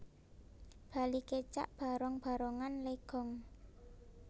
Bali Kecak Barong Barongan Legong